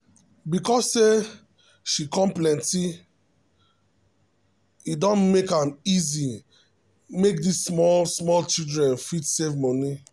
because say site come plenty e don make am easy make this small small childen fit save moni